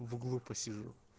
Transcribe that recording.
в углу посижу